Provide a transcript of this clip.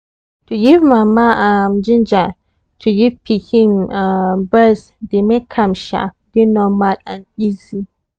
to give mama um ginja to give pikin um breast dey make am um dey normal and easy